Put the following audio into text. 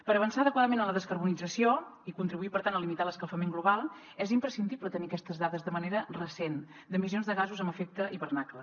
per avançar adequadament en la descarbonització i contribuir per tant a limitar l’escalfament global és imprescindible tenir aquestes dades de manera recent d’emissions de gasos amb efecte hivernacle